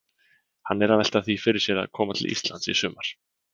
Hann er að velta því fyrir sér að koma til Íslands í sumar.